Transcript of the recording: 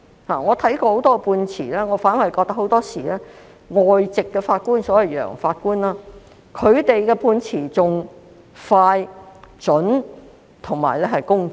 我看過很多判詞，我認為很多時外籍法官的判詞反而更加快、準、公正。